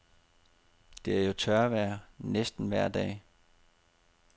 Det er jo tørvejr næsten vejr dag.